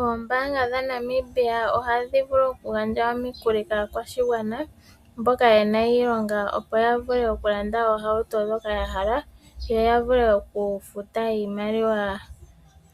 Oombaanga dha Namibia ohadhi vulu oku gandja omikuli kaakwashigwana mboka yena Iilonga opo yavule oku landa oohauto ndhoka ya hala, yo yavule oku futa iimaliwa